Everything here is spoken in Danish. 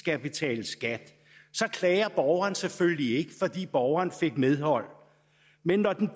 skal betales skat så klager borgeren selvfølgelig ikke fordi borgeren fik medhold men når den